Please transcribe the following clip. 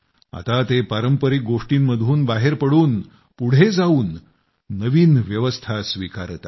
आता ते पारंपरिक गोष्टींतून बाहेर पडून पुढे जावून नवीन व्यवस्था स्वीकारत आहेत